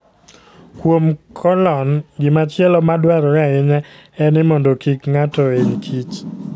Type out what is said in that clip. Kuom kolon, gimachielo madwarore ahinya en ni mondo kik ng'ato hiny kich.